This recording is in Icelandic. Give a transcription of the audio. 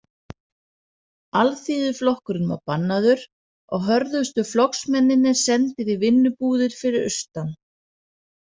Alþýðuflokkurinn var bannaður og hörðustu flokksmennirnir sendir í vinnubúðir fyrir austan.